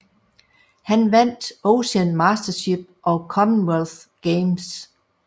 Han vandt Ocean Mastership og Commonwealth Games